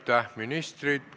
Aitäh, ministrid!